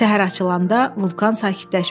Səhər açılanda vulkan sakitləşmişdi.